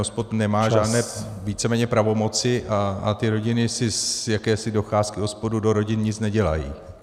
OSPOD nemá žádné víceméně pravomoci a ty rodiny si z jakési docházky OSPOD do rodin nic nedělají.